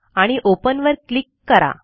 आणि ओपन वर क्लिक करा